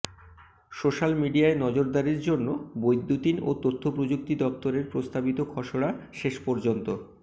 social মিডিয়ায় নজরদারির জন্য বৈদ্যুতিন ও তথ্যপ্রযুক্তি দফতরের প্রস্তাবিত খসড়া শেষ পর্যন্ত